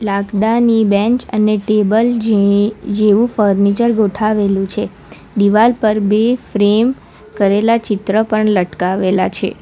લાકડાની બેંચ અને ટેબલ જે જેવુ ફર્નિચર ગોઠાવેલું છે દિવાલ પર બે ફ્રેમ કરેલા ચિત્ર પણ લટકાવેલા છે.